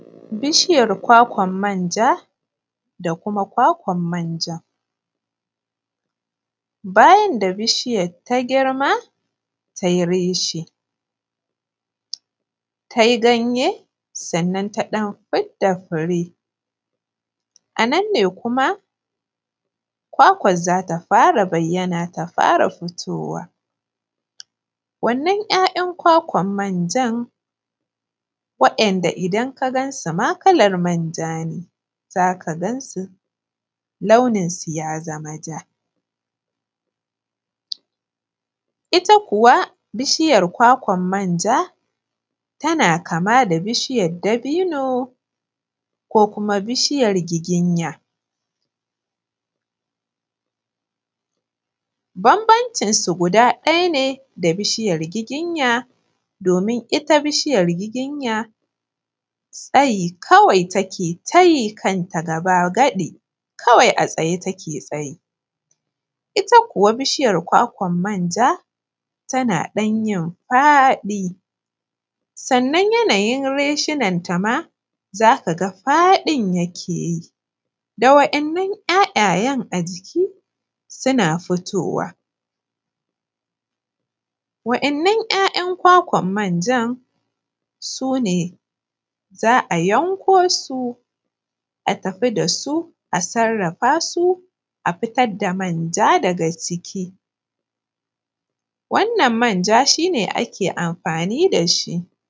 Bishiyar kwakwan manja da kuma kwakwan manjan, bayan da bishiyan ta girma ta yi reshe ta yi ganye sannan taifure, a nan ne kuma kwakwar zata fara bayyan ta fara fitowa. Wannan yayan kwakan manjar wanda idan ka gansu ma kalar manja ne za ka ga launin su ya zama ja, ita kuwa bishiyar kwakwan manja tana kama da bishiyar dabino ko kuma bishiyar giginya. Bmnbancin su ɗaya ne da bishiyar giginya domin ita bishiyar giginya tsayi take ta yi kanta gaba gadi kawai tsayi take yi ita kuwa bishiyar kwakwan manja tana yi fadi sannan yanayin reshen ta ma za ka ga fadin yake yi da waɗannan ‘ya’yayen a ciki suna fitowa waɗannan ‘ya’yan kwakwan manjan su ne za a yanko su a tafi da su a sarrafa su a fitar da manja daga ciki wannan manja shi ne ake amfani da shi.